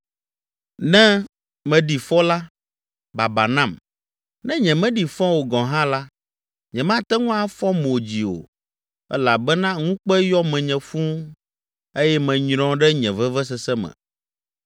Ne meɖi fɔ la, baba nam! Ne nyemeɖi fɔ o gɔ̃ hã la, nyemate ŋu afɔ mo dzi o elabena ŋukpe yɔ menye fũu eye menyrɔ ɖe nye vevesese me.